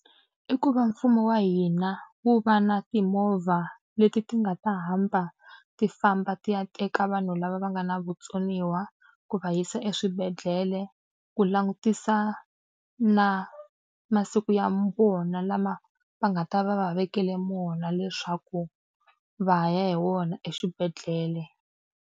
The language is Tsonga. I ku va mfumo wa hina wu va na timovha leti ti nga ta hamba ti famba ti ya teka vanhu lava va nga na vutsoniwa ku va yisa eswibedhlele, ku langutisa na masiku ya vona lama va nga ta va va va vekele wona leswaku va ya hi wona eswibedhlele.